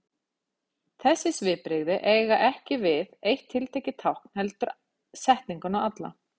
Þessi svipbrigði eiga ekki við eitt tiltekið tákn heldur setninguna alla.